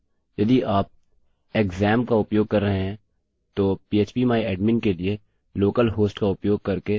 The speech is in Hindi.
यदि आप xampp का उपयोग कर रहे हैं तो php my admin के लिए लोकल हॉस्ट का उपयोग करके यह डिफॉल्ट रूप से संस्थापित होगा